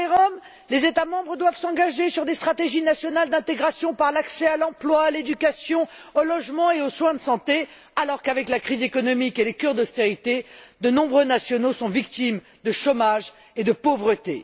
Concernant les Roms, les États membres doivent s'engager sur des stratégies nationales d'intégration par l'accès à l'emploi, à l'éducation, au logement et aux soins de santé, alors qu'avec la crise économique et les cures d'austérité de nombreux nationaux sont victimes de chômage et de pauvreté.